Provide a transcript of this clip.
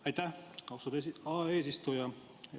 Aitäh, austatud eesistuja!